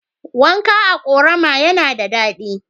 Wanka a ƙorama yana da daɗi.